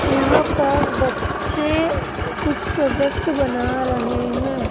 यहां पर बच्चे कुछ प्रोजेक्ट बना रहे हैं।